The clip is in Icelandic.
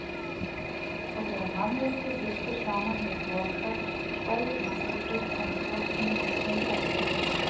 Og þegar mannviti lýstur saman við hroka vægir mannvitið en hrokinn hefur stundarsigur.